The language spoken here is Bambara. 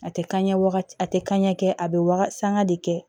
A tɛ kaɲɛ waga a tɛ kanɲɛ kɛ a bɛ waga sanga de kɛ